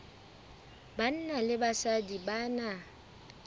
banna le basadi ba na